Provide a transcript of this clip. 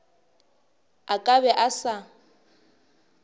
a ka be a sa